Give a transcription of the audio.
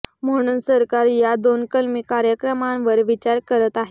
म्हणून सरकार या दोन कलमी कार्यक्रमावर विचार करत आहे